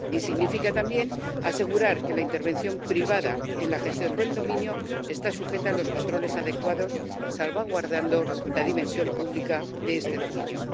Y significa también asegurar que la intervención privada en la gestión del dominio esté sujeta a los controles adecuados, salvaguardando la dimensión pública de este dominio.